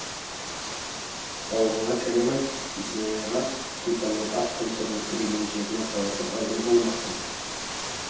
аулыңа сәлем айт есеней аға сұлтанның ат тұмсығын тіреген жеріне таласып әуре болмасын